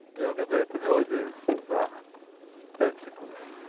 я угадаю эту мелодию за пять секунд